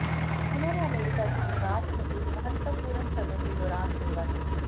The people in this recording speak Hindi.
उन्होंने अमेरिका के विकास में एक महत्वपूर्ण समय के दौरान सेवा की